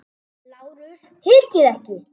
LÁRUS: Hikið ekki!